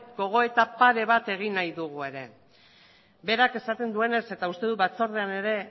gogoeta pare bat egin nahi dugu ere berak esaten duenez eta uste dut batzordean ere